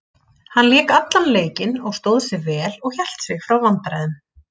Hann lék allan leikinn og stóð sig vel og hélt sig frá vandræðum.